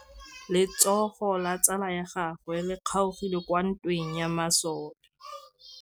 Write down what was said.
Letsôgô la tsala ya gagwe le kgaogile kwa ntweng ya masole.